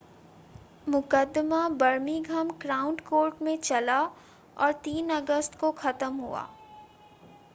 मुक़दमा Birmingham crown court में चला और 3 अगस्त को ख़त्म हुआ